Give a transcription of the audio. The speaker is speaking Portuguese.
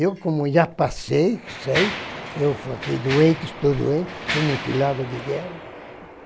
Eu, como já passei, sei, eu fiquei doente, estou doente, sou mutilado de guerra.